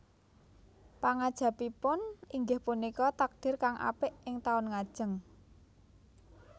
Pangangajabipun inggih punika takdir kang apik ing taun ngajeng